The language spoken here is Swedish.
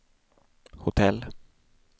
hotell